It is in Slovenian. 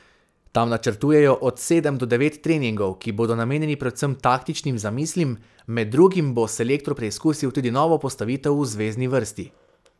Tam načrtujejo od sedem do devet treningov, ki bodo namenjeni predvsem taktičnim zamislim, med drugim bo selektor preizkusil tudi novo postavitev v zvezni vrsti.